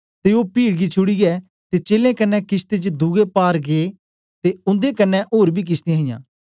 ते ओ पीड गी छुड़ीयै ते चेलें कन्ने किशती च दुए पार गै ते उन्दे कन्ने ओर बी किशतियां हियां